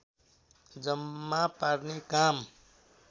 जम्मा पार्ने काम